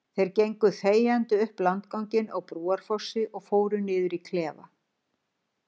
Þeir gengu þegjandi upp landganginn á Brúarfossi og fóru niður í klefa.